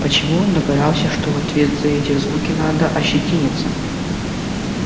почему он догадался что в ответ за эти звуки надо ощетиниться